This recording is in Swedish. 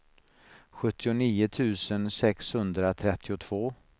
sjuttionio tusen sexhundratrettiotvå